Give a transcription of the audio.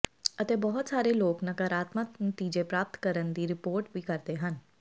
ਅਤੇ ਬਹੁਤ ਸਾਰੇ ਲੋਕ ਨਕਾਰਾਤਮਕ ਨਤੀਜੇ ਪ੍ਰਾਪਤ ਕਰਨ ਦੀ ਰਿਪੋਰਟ ਵੀ ਕਰਦੇ ਹਨ